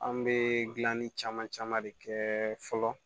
An bɛ dilanni caman caman de kɛ fɔlɔ